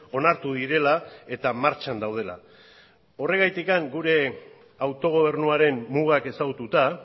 onartu direla eta martxan daudela horrengatik gure autogobernuaren mugak ezagututa